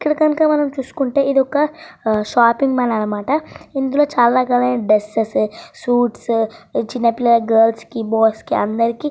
ఇక్కడ కనక మనం చూసుకుంటే ఇదొక ఒక షాపింగ్ మాల్ అన్నమాట. చాలా రకాల డ్రెస్సెస్ షూట్సు చిన్నపిల్లల డ్రస్సు లు అందరికీ --